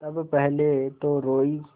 तब पहले तो रोयी